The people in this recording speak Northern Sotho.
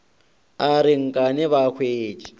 a re nkane ba thwetše